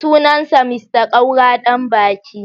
Sunansa Mr Kaura Danbaki.